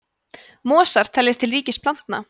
mosar teljast til ríkis plantna